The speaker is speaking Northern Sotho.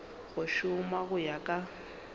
go šoma go ya ka